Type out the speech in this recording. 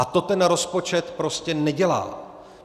A to ten rozpočet prostě nedělá.